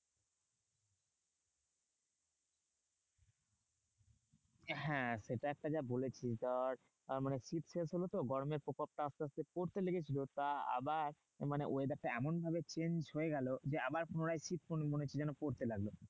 হ্যাঁ সেটা একটা যা বলেছিস। আর আর মানে শীত শেষ হলো তো গরমের প্রকোপ টা আসতে আসতে পড়তে লেগেছিলো। তা আবার মানে weather টা এমনভাবে change হয়ে গেলো যে, আবার পুনরায় শীত মনে হচ্ছে যেন পড়তে লাগলো।